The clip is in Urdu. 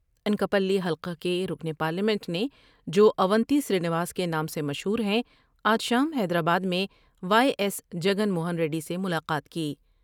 انکا پلی حلقہ کے رکن پارلیمنٹ نے جواونتی سرینواس کے نام سے مشہور ہیں آج شام حیدرآباد میں وائی ایس جگن موہن ریڈی سے ملاقات کی ۔